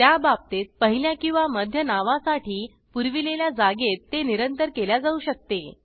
त्या बाबतीत पहिल्या किंवा मध्य नावा साठी पुराविलेल्या जागेत ते निरंतर केल्या जाऊ शकते